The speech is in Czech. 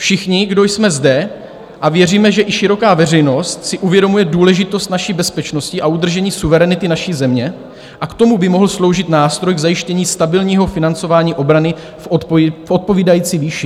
Všichni, kdo jsme zde, a věříme, že i široká veřejnost, si uvědomujeme důležitost naší bezpečnosti a udržení suverenity naší země a k tomu by mohl sloužit nástroj k zajištění stabilního financování obrany v odpovídající výši.